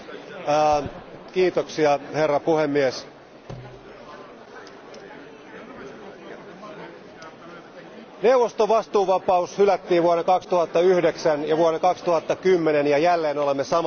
Arvoisa puhemies, neuvoston vastuuvapaus hylättiin vuonna 2009 ja vuonna 2010 ja jälleen olemme samassa tilanteessa.